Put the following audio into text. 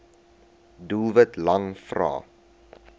doelwit lang vrae